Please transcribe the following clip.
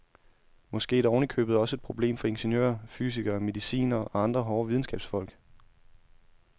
Måske er det oven i købet også et problem for ingeniører, fysikere, medicinere og andre hårde videnskabsfolk.